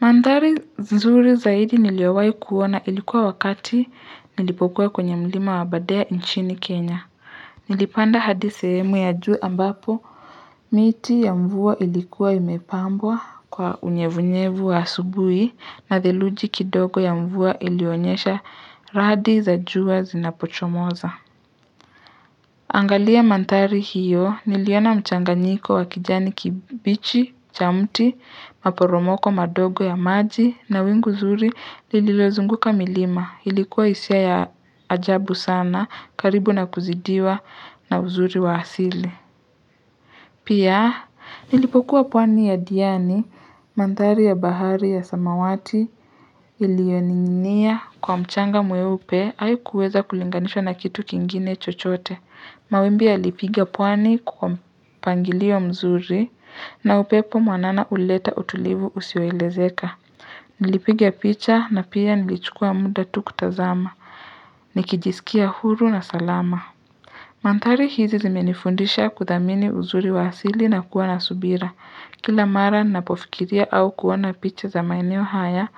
Mandhari nzuri zaidi niliyowahi kuona ilikuwa wakati nilipokuwa kwenye mlima wabadea nchini kenya nilipanda hadi sehemu ya juu ambapo miti ya mvua ilikuwa imepambwa kwa unyevunyevu wa asubuhi na theluji kidogo ya mvua ilionyesha radi za jua zinapochomoza. Angalia mandhari hiyo niliona mchanganyiko wa kijani kibichi, cha mti, maporomoko madogo ya maji na wingu nzuri nililozunguka milima ilikuwa hisia ya ajabu sana karibu na kuzidiwa na uzuri wa asili. Pia, nilipokuwa pwani ya diani, mandhari ya bahari ya samawati, ilioninia kwa mchanga mweupe, haikuweza kulinganishwa na kitu kingine chochote. Mawimbi yalipigia pwani kwa mpangilio mzuri, na upepo mwanana ulileta utulivu usiyo elezeka. Nilipiga picha, na pia nilichukua muda tu kutazama. Nikijisikia huru na salama. Mandhari hizi zimenifundisha kuthamini uzuri wa asili na kuwa nasubira. Kila mara ninapofikiria au kuona picha za maeneo haya,